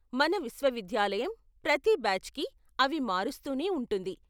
మన విశ్వవిద్యాలయం ప్రతి బ్యాచ్కి అవి మారుస్తూనే ఉంటుంది .